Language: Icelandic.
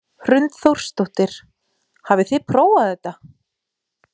Hrund Þórsdóttir: Hafið þið prófað þetta?